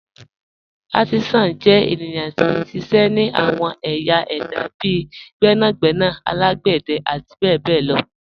Àrtísán jẹ́ ènìyàn tí n ṣiṣẹ́ ni àwọn ạ̀yẹ̀ èdá bíì gbẹ̀nàgbẹ̀nà alágbẹ̀dẹ̀ àti bẹ̀bẹ̀ lọ.